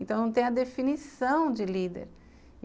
Então não tem a definição de líder.